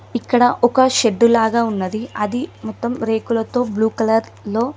ఇక్కడ ఒక షెడ్డు లాగా ఉన్నది అది మొత్తం రేకులతో బ్లూ కలర్ లో--